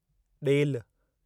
ॾेल